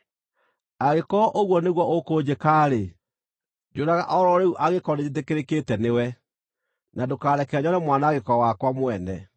Angĩkorwo ũguo nĩguo ũkũnjĩka-rĩ, njũraga o ro rĩu, angĩkorwo nĩnjĩtĩkĩrĩkĩte nĩwe, na ndũkareke nyone mwanangĩko wakwa mwene.”